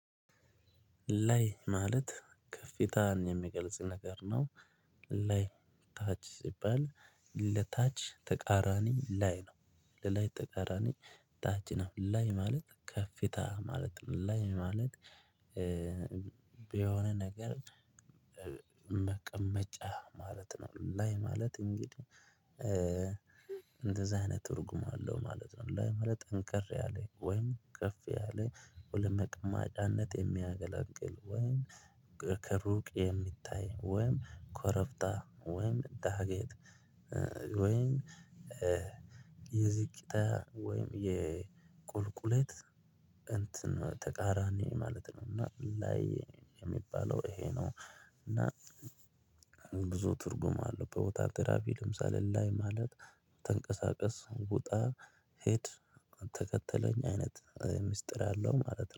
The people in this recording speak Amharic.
ላይ ማለት ከፍታን የሚገልጽ ነገር ነው። ላይ ታች ሲባል ለታች ተቃራኒ ላይ ነው። ለላይ ተቃራኒ ታች ነው። ላይ ማለት ከፍታ ማለት ላይ ማለት። የሆነ ነገር መቀመጫ ማለት ነው። ላይ ማለት እንግዲህ እንደዚህ አይነት እርጉም አለው ማለት ነው። ላይ ማለት ጠንቀር ያለኝ ወይም ከፍ ያለ ለመቅማጫነት የሚያገላግል ወይም ከሩቅ የሚታይ ወይም ኮረፍታ ወይም ዳገት። ወይም የዚቅታ ወይም የቁልቁለት እንትን ተቃራኒ ማለት ነው። እና ላይ የሚባለው ይሄ ነው። እና ብዙ ትርጉም አለው። ቦታ ትራፊክ ለምሳሌ ላይ ማለት ተንቀሳቀስ ውጣ ሂድ ተከተለኝ አይነት ሚስጥር አለው ማለት ነው